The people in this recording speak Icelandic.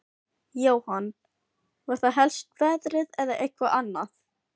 Jóhann: Var það helst veðrið eða eitthvað annað?